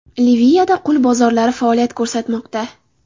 Liviyada qul bozorlari faoliyat ko‘rsatmoqda.